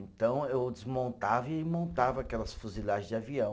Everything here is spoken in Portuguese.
Então eu desmontava e montava aquelas fuzilagem de avião.